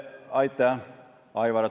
Aitäh, Aivar!